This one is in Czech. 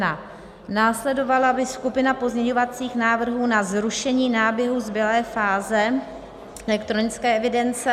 Následovala by skupina pozměňovacích návrhů na zrušení náběhu zbylé fáze elektronické evidence...